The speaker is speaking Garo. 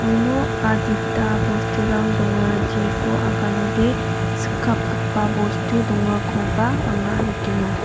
uno adita bosturang donga jeko aganode sikkapgipa bostu dongakoba anga nikenga.